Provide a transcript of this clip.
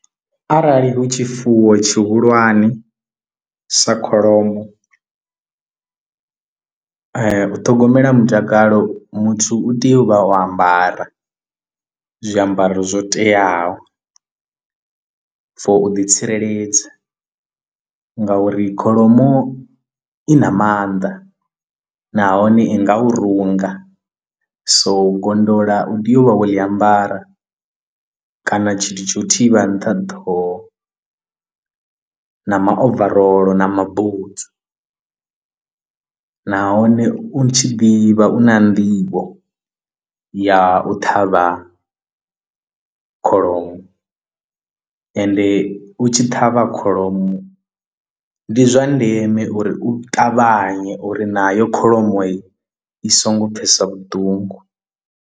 Arali hu tshifuwo tshihulwane sa kholomo u ṱhogomela mutakalo muthu u tea u vha o ambara zwiambaro zwo teaho for u ḓitsireledza ngauri kholomo i na maanḓa nahone i nga u runga so u gondola u tea u vha wo ḽi ambara kana tshithu tsho u thivha nṱha ḓaho na over rolo na mabutswu nahone u tshi ḓivha u na nḓivho ya u ṱhavha kholomo, ende u tshi ṱhavha kholomo ndi zwa ndeme uri u ṱavhanye uri nayo kholomo i i songo pfhesa vhuṱungu.